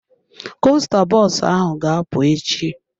Kosta bọs ahụ ga-apụ echi.